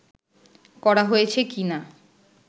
করা হয়েছে কিনা